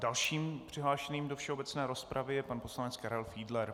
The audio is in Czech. Dalším přihlášeným do všeobecné rozpravy je pan poslanec Karel Fiedler.